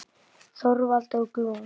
Þorvald og Glúm.